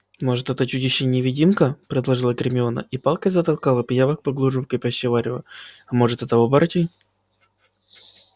может это чудище невидимка предположила гермиона и палкой затолкала пиявок поглубже в кипящее варево а может это оборотень